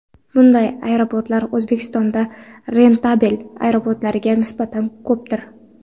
Bunday aeroportlar O‘zbekistonda rentabel aeroportlarga nisbatan ko‘pdir.